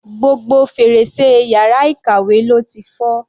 Gbogbo fèrèsé yàrá ìkàwé ló ti fọ́.